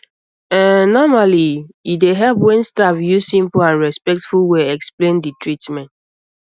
ehn normally um e dey help when staff use simple and respectful way explain um d treatment